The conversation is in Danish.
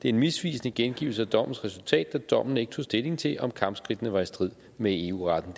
er en misvisende gengivelse af dommens resultat da dommen ikke tog stilling til om kampskridtene var i strid med eu retten